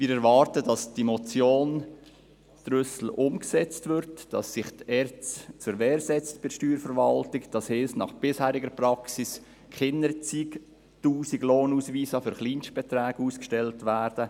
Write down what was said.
Wir erwarten, dass die Motion Trüssel umgesetzt wird, dass sich die ERZ bei der Steuerverwaltung zur Wehr setzt, das heisst, dass nach bisheriger Praxis keine zig Tausend Lohnausweise mit Kleinstbeträgen ausgestellt werden.